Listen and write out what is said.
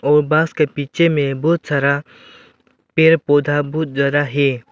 और बस के पीछे में बहोत सारा पेड़ पौधा बहुत ज्यादा है।